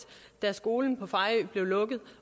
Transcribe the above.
da skolen på fejø blev lukket